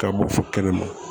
Ka bɔ fɔ kɛnɛma